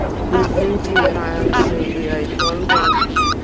ну извините раньше и айфон был